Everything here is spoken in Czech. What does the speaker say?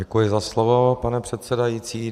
Děkuji za slovo, pane předsedající.